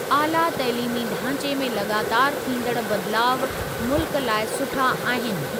आला तइलीमी ढांचे में लॻातारि थींदड़ बदिलाउ मुल्क लाइ सुठा आहिनि।